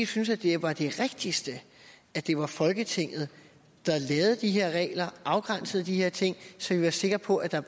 synes at det var det rigtigste at det var folketinget der lavede de her regler afgrænsede de her ting så vi var sikre på at der